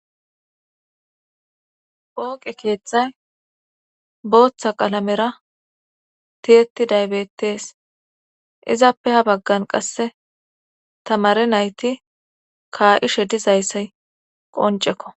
pooqe keeththay booththa qalamera tiyeti daybettes izappe ha baggan qasse tamare nayti kaa7ishe dizayssay qoncekko